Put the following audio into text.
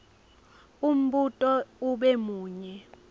umbuto ube munye